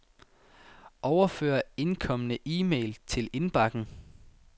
Overfør indkomne e-mail til indbakken.